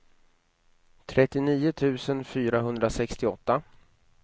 trettionio tusen fyrahundrasextioåtta